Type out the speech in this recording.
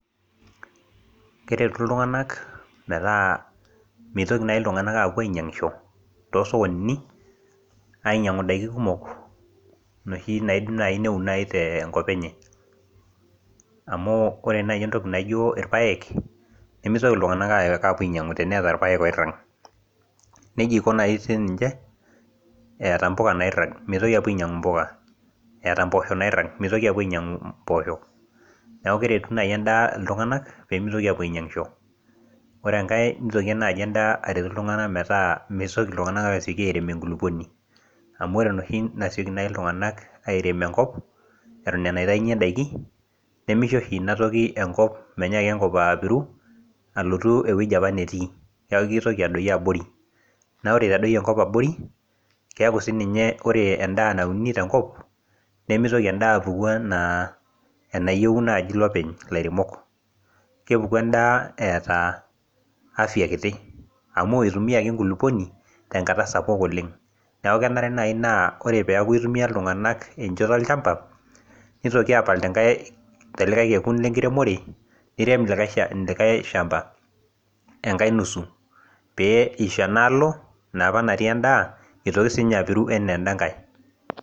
keretu iltunganak metaa meitoki naajiiltunanak aapuo ainyiangisho too soskonini, ainyiang;u idaikin kumok, inoshi naidim naaji neun naaji tenkop enye. amu ore naaji entoki naijo irpaek, nemitoi iltunganak ayok apuo ainyiang'u teneeta irpaek oirag. nejia naaji iko sii ninche eta mpuka nairag. mitoki apuo ainyiangu mpuka. eeta mpoosho nairag. emitoki apuo ainyiang'u mpoosho. neeku keretu naaji edaa iltunganak pee emitoki aapuo ainyiangisho. ore enkae neitoki naaji edaa aret iltunganak metaa mitoki iltunganak aasioki airem enkulupuni. amu ore enoshi nasioki naaji ilungank airem enkop. eton aa enaitayunye daiki. nemisho oshi inatoki ekop emnyaaki enkop, epiru alotu ewuji apa netii. neeku kitoki aodyio abori, ore edoyio enkop abori, keeku sii ninye ore edaa nauni tenkop, nemitoki edaa apuku anaa enayieu naaji ilopeny. ilaremok. kepuku edaa eeta afia kiti. amu itumiaki enkuluponi tenkata sapuk oleng. neku kenare naaji naa ore peeku itumia iltunganak enchoto olchampa, nitoki aapal tenkae, tolikae kekun lenkiremore. nirem likae shampa. enkae nusu. pee isho enaalo enapa natii edaa. eitoki sii ninye apiru anaa eda nkae.